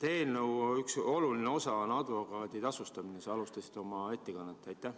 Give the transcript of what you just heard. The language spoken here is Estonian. Eelnõu üks oluline osa on advokaadi tasustamine, millest sa alustasid oma ettekannet.